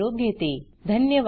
सहभागाबद्दल धन्यवाद